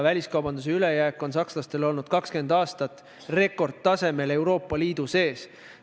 Väliskaubanduse ülejääk on sakslastel olnud 20 aastat Euroopa Liidu sees rekordtasemel.